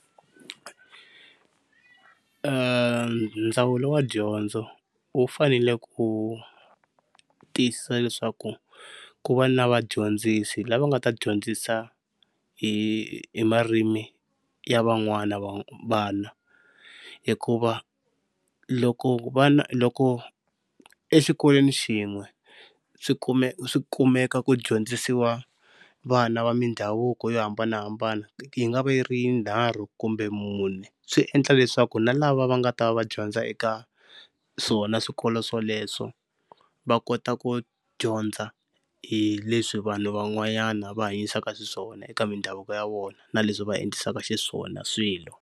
Ndzawulo wa dyondzo wu fanele ku tiyisisa leswaku ku va na vadyondzisi lava nga ta dyondzisa hi hi marimi ya van'wana vana. Hikuva loko vana loko exikolweni xin'we swi swi kumeka ku dyondzisiwa vana va mindhavuko yo hambanahambana yi nga va yi ri yinharhu kumbe mune, swi endla leswaku na lava va nga ta va va dyondza eka swona swikolo swoleswo va kota ku dyondza hi leswi vanhu van'wanyana va hanyisaka xiswona eka mindhavuko ya vona na leswi va endlisaka xiswona swilo.